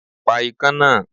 Pa ikán náà!